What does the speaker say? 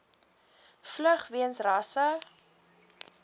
vlug weens rasse